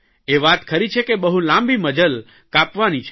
એ વાત ખરી છે કે બહુ લાંબી મઝલ કાપવાની છે